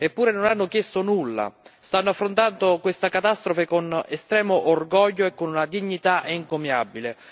Eppure non hanno chiesto nulla, stanno affrontando questa catastrofe con estremo orgoglio e con una dignità encomiabile.